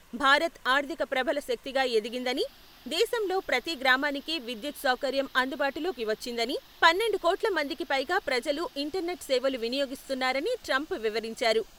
భారత్ ఆర్థిక ప్రబల శక్తిగా ఎదిగిందని, దేశంలో ప్రతి గ్రామానికి విద్యుత్ సౌకర్యం అందుబాటులోకి వచ్చిందని, పన్నెండు కోట్ల మందికి పైగా ప్రజలు ఇంటర్ నెట్ సేవలు వినియోగిస్తున్నారని ట్రంప్ వివరించారు.